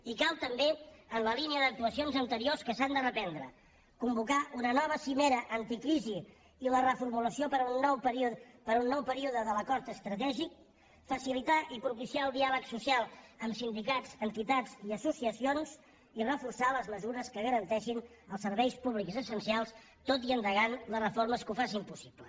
i cal també en la línia d’actuacions anteriors que s’han de reprendre convocar una nova cimera anticrisi i la reformulació per a un nou període de l’acord estratègic facilitar i propiciar el diàleg social amb sindicats entitats i associacions i reforçar les mesures que garanteixin els serveis públics essencials tot endegant les reformes que ho facin possible